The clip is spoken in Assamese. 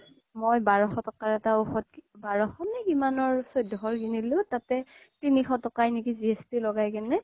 মই বাৰখ তকা বাৰখ নে কিমানৰ চৈধ্যক্শ তকাৰ কিনিলো ততে তিনিশ তকাই নে কি GST লগাই কিনে